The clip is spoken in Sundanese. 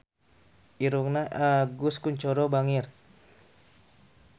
Irungna Agus Kuncoro bangir